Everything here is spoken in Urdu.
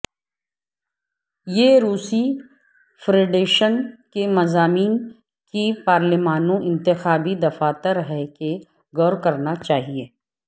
یہ روسی فیڈریشن کے مضامین کی پارلیمانوں انتخابی دفاتر ہیں کہ غور کرنا چاہیے